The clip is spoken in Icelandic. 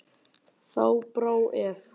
Þá brá ef.